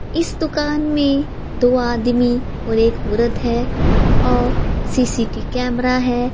इस दुकान में दो आदमी और एक औरत हैं और सी_सी_टी_वी कैमरे हैं।